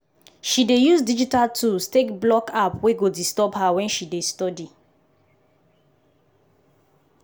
she dey use digital tools take block app wey go disturb her wen she dey study.